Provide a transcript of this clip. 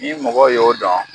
N'i mɔgɔ y'o dɔn